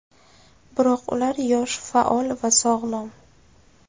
Biroq ular yosh, faol va sog‘lom.